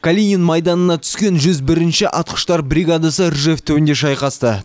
калинин майданына түскен жүз бірінші атқыштар бригадасы ржев түбінде шайқасты